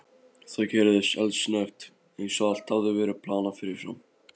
Það gerðist eldsnöggt, eins og allt hefði verið planað fyrirfram.